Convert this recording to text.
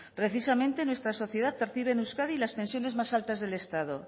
precisamente nuestra sociedad percibe en euskadi las pensiones más altas del estado